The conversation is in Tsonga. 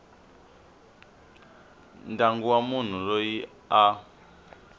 ndyangu wa munhu loyi a